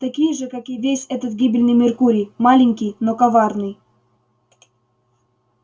такие же как и весь этот гибельный меркурий маленький но коварный